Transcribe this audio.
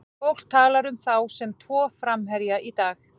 Fólk talar um þá sem tvo framherja í dag.